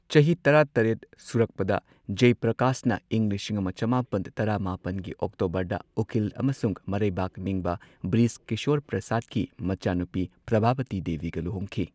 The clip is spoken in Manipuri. ꯆꯍꯤ ꯇꯔꯥ ꯇꯔꯦꯠ ꯁꯨꯔꯛꯄꯗ, ꯖꯢꯄ꯭ꯔꯀꯥꯁꯅ ꯏꯪ ꯂꯤꯁꯤꯡ ꯑꯃ ꯆꯃꯥꯄꯟ ꯇꯔꯥ ꯃꯥꯄꯟꯒꯤ ꯑꯣꯛꯇꯣꯕꯔꯗ ꯎꯀꯤꯜ ꯑꯃꯁꯨꯡ ꯃꯔꯩꯕꯥꯛ ꯅꯤꯡꯕ ꯕ꯭ꯔꯤꯖ ꯀꯤꯁꯣꯔ ꯄ꯭ꯔꯁꯥꯗꯀꯤ ꯃꯆꯥꯅꯨꯄꯤ ꯄ꯭ꯔꯚꯥꯕꯇꯤ ꯗꯦꯕꯤꯒ ꯂꯨꯍꯣꯡꯈꯤ꯫